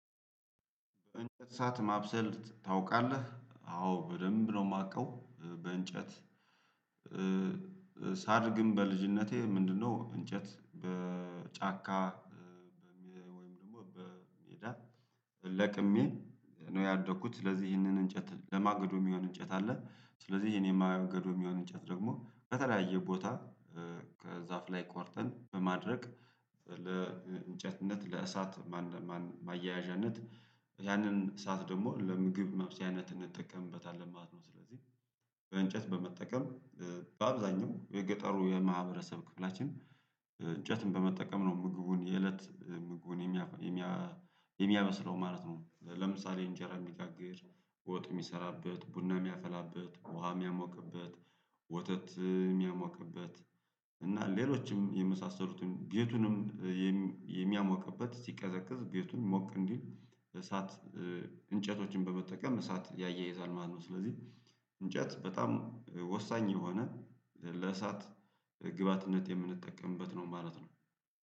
እንጨት ሰዓት ማብሰል ታውቃለህ? አዎ በደንብ ነው የማውቀው በእንጨት። ሳድግም በልጅነቴ ምንድነው እንጨት በጫካ ደግሞ በሜዳ ለቅሜ ነው ያደኩት። ስለዚህ ይህንን እንጨት ለማግዶ የሚሆን እንጨት አለ። ስለዚህ የኔ ማገዶ የሚሆን እንጨት ደግሞ ከተለያየ ቦታ ከዛፍ ላይ ቆርጠን በማድረግ ለእንጨትነት ለእሳት ማያያዣነት ያንን ሰዓት ደግሞ ለምግብ መብሰያነት እንጠቀምበታለን ማለት ነው። ስለዚህ እንጨት በመጠቀም በአብዛኛው የገጠሩ የማህበረሰብ ክፍላችን እንጨትን በመጠቀም ነው ምግቡን የእለት ምጉን የሚያበስለው ማለት ነው። ለምሳሌ እንጀራ የሚጋግር ወጥ የሚሰራበት ቡና የሚያፋላበት ውሃ የሚያሞቅበት ወተት የሚያሞቅበት እና ሌሎችም የመሳሰሉትን ቤቱንም የሚያሞቅበት ሲቀዘቅዝ ቤቱን ሞቅ እንዲል እሳት እንጨቶችን በመጠቀም እሳት ያያይዛል ማለት ነው። ስለዚህ እንጨት በጣም ወሳኝ የሆነ ለእሳት ግብአትነት የምንጠቀምበት ነው ማለት ነው